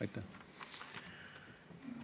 Aitäh!